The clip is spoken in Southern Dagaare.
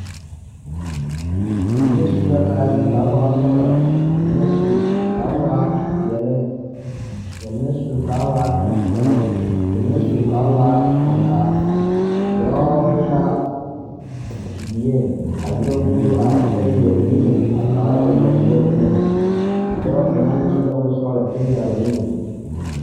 Ba mine su la kaayԑre ka a waa sͻgelͻ, ka ba mine su ka a waa peԑle, ka mine su ka a waa tampԑloŋ, ka mine su ka waa aŋkaa. Dͻͻ be la dieŋ a nyͻge kuruu are kyԑ leԑ niŋe a kaara o lombori eŋԑŋ. Ka a dͻͻ kaŋ meŋ su la bonsͻgelͻ kyԑ yaaroo nuuri.